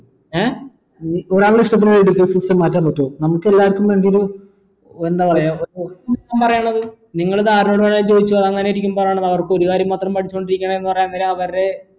ഏർ education system മാറ്റാൻ പറ്റുവോ നമുക്കെല്ലാവർക്കും വേണ്ടി ഒരു എന്താ പറയാ പറയണത് നിങ്ങൾ അവർക്ക് ഒരു കാര്യം മാത്രം പഠിച്ചോണ്ടിരിക്കുന്ന എന്നരം അവരെ